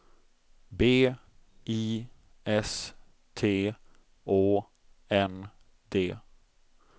B I S T Å N D